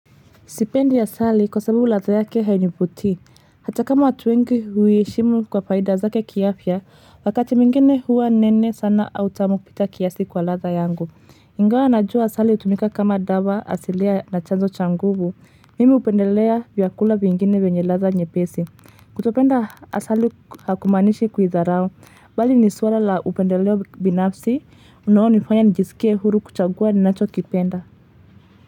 Sipendi asali kwa sababu ladha yake hainivutii, hata kama watu wengi huiheshimu kwa faida zake kiafya, wakati mwingine huwa nene sana au tamu kupita kiasi kwa ladha yangu. Ingawa najua asali hutumika kama dawa asilia na chanzo cha nguvu, mimi hupendelea vyakula vingine vyenye ladha nyepesi. Kutopenda asali hakumaanishi kuidharau, bali ni suala la upendeleo binafsi, unaonifanya nijisikie huru kuchagua ninacho kipenda.